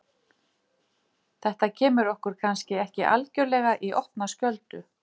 Þess vegna vil ég óska mér einhvers sem þykir vænt um mig.